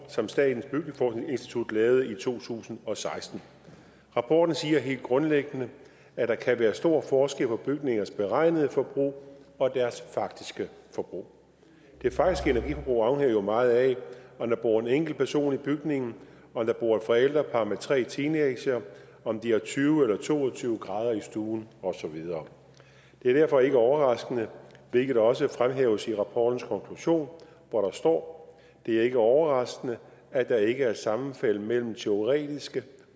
som statens byggeforskningsinstitut lavede i to tusind og seksten rapporten siger helt grundlæggende at der kan være stor forskel på bygningers beregnede forbrug og deres faktiske forbrug det faktiske energiforbrug afhænger jo meget af om der bor en enkelt person i bygningen om der bor et forældrepar med tre teenagere om de har tyve eller to og tyve grader i stuen og så videre det er derfor ikke overraskende hvilket også fremhæves i rapportens konklusion hvor der står det er ikke overraskende at der ikke er sammenfald mellem teoretiske